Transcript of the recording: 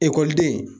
Ekɔliden